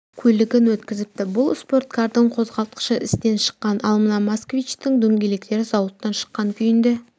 көлігін өткізіпті бұл спорткардың қозғалтықышы істен шыққан ал мына москвичтің дөңгелектері зауыттан шыққан күйінде